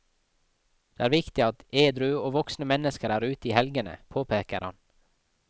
Det er viktig at edru og voksne mennesker er ute i helgene, påpeker han.